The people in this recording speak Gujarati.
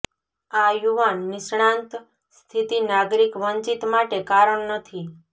આ યુવાન નિષ્ણાત સ્થિતિ નાગરિક વંચિત માટે કારણ નથી